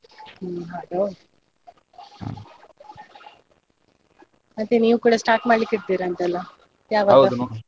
ಹ್ಮ್‌ ಅದೌದು. ಮತ್ತೆ ನೀವು ಕೂಡ start ಮಾಡ್ಲಿಕ್ಕಿದ್ದೀರಂತಲ್ಲ ಯಾವಾಗ?